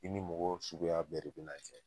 I ni mɔgɔ sugu bɛɛ de be na jɛn